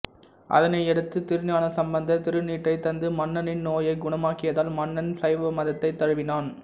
அதனையடுத்து திருஞான சம்மந்தர் திருநீற்றை தந்து மன்னனின் நோயை குணமாக்கியதால் மன்னன் சைவமதத்தை தழுவினான்